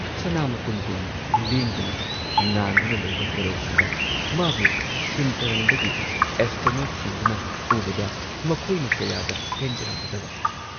ꯁꯅꯥ ꯃꯇꯨꯝꯒꯨꯝ ꯂꯦꯡꯗꯅ ꯉꯥꯟꯗꯨꯅ ꯂꯩꯕ ꯀꯣꯔꯧꯍꯟꯕ, ꯃꯥꯕꯨ ꯁꯨꯟꯇꯔꯪꯗꯒꯤ ꯑꯦꯁꯇ꯭ꯔꯣꯅꯣꯠꯁꯤꯡꯗꯨꯅ ꯎꯕꯗ ꯃꯈꯣꯏꯅ ꯀꯌꯥꯗ ꯄꯦꯟꯖꯔꯝꯒꯗꯕ!